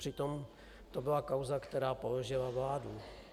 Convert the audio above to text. Přitom to byla kauza, která položila vládu.